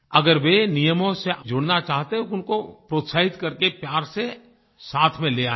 अगर वे नियमों से जुड़ना चाहते हैं उनको प्रोत्साहित करके प्यार से साथ में ले आएँ